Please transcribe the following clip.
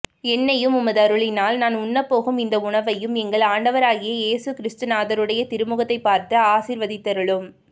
என்னையும் உமதருளினால் நான் உண்ணப்போகும் இந்த உணவையும் எங்கள் ஆண்டவராகிய இயேசு கிறிஸ்துநாதருடைய திருமுகத்தைப் பார்த்து ஆசீர்வதித்தருளும்